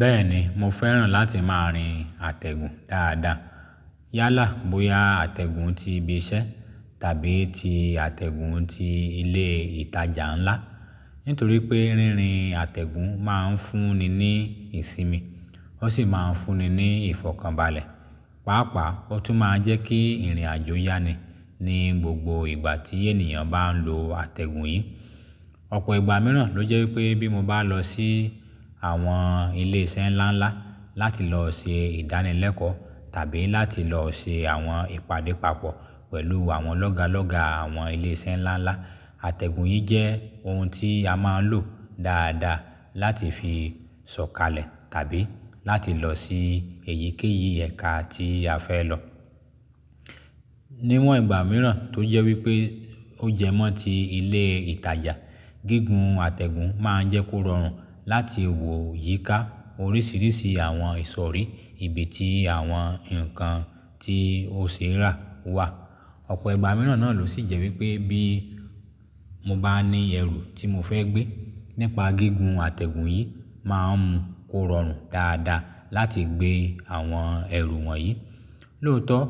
Bẹ́ẹ̀ni, mo fẹ́ràn láti máa rin àtẹ̀gùn dáadáa. Yálà bóya àtẹ̀gùn ti ibi iṣẹ́ tàbí ti àtẹ̀gùn ti ilé ìtajà ńlá. Nítorí pé rírin àtẹ̀gùn máa ń fún ni ní ìsinmi, ó sì máa ń fún ni ní ìfọ̀kànbalẹ̀. Pàápàá, ó tún máa ń jẹ́ kí ìrìn-àjò yá ni ní gbogbo ìgbà tí ènìyàn bá ń lo àtẹ̀gùn yìí. Ọ̀pọ̀ ìgbà mìíràn ló jẹ́ wípé bí mo bá lọ sí àwọn ilé iṣẹ́ ńlá ńlá láti lọ ṣe ìdánilẹ́kọ̀ọ́ tàbí láti lọ ṣe àwọn ìpàdé papọ̀ pẹ̀lú àwọn lọ́gálọ́ga àwọn ilé iṣẹ́ ńlá ńlá, àtẹ̀gùn yìí jẹ́ ohun tí a máa ń lò dáadáa láti fi sọ̀kalẹ̀ tàbí láti lọ sí èyíkéyìí ẹ̀ka tí a fẹ́ lọ. Níwọ̀n ìgbà mìíràn tó jẹ́ wípé ó jẹ mọ́ tí ilé ìtajà, gígùn àtẹ̀gùn máa ń jẹ́ kó rọrùn láti wò yíká oríṣìíríṣìí àwọn ìsọ̀rí ibi tí àwọn ǹkan tí o ṣe ẹ rá wà. Ọ̀pọ̀ ìgbà mìíràn náà ló sì jẹ́ wípé bí mo bá ní ẹrù tí mo fẹ́ gbé, nípa gígùn àtẹ̀gùn yìí máa ń mú kó rọrùn dáadáa láti gbé àwọn ẹrù wọ̀nyí. Lóòótọ́,